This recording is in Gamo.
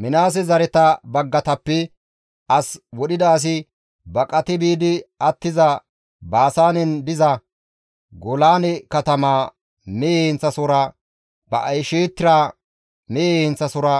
Minaase zareta baggatappe as wodhida asi baqati biidi attiza, Baasaanen diza Golaane katamaa mehe heenththasohora Ba7eshtira mehe heenththasohora,